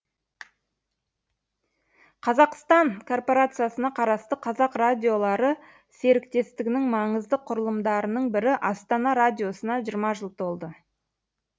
қазақстан корпорациясына қарасты қазақ радиолары серіктестігінің маңызды құрылымдарының бірі астана радиосына жиырма жыл толды